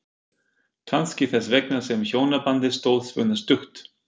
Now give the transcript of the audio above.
Kannski þess vegna sem hjónabandið stóð svona stutt.